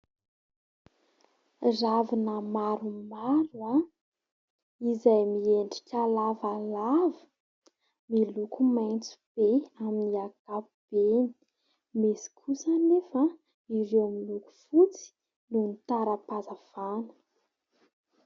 Ravina maromaro izay miendrika lavalava. Miloko maitso be amin'ny ankapobeny. Misy kosa anefa ireo amin'ny loako fotsy noho ny tara-pazafana